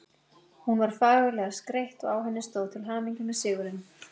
Hún var fagurlega skreytt og á henni stóð: Til hamingju með sigurinn